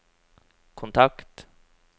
kontakt